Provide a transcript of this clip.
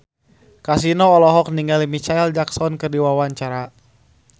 Kasino olohok ningali Micheal Jackson keur diwawancara